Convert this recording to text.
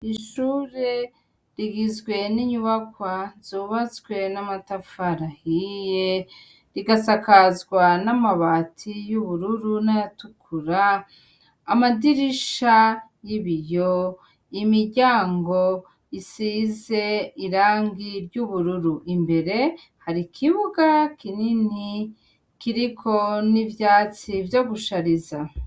Ishure rigizwe n'inyubakwa zubatswe n’amatafari ahiye igasakazwa n'amabati y'ubururu nay'atukura, amadirisha y'ibiyo, imiryango isize iragi ry'ubururu imbere har'ikibuga kinini kiriko n'ivyatsi vyo gushariza.